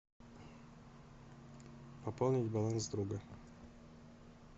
пополнить баланс друга